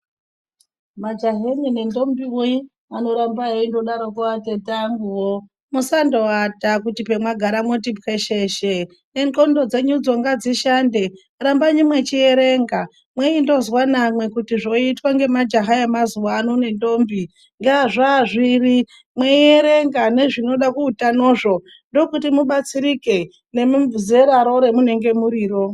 Majahanyi nendombiwe anotamba eindodaroko atete anguwo musandoata kuti pamwagara mwoti pwesheshe nendxondo dzenyudzo ngadzishande rambayi mwechierenga mweindozwa namwe kuiti zvoitwa ngemajaha emazuwano nendombi zvazviro mweierenga nezvinoda kuutanozvo ndokuti mubatsirike nemizeraro ramunenge muriro.